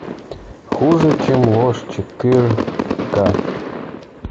хуже чем ложь четыре ка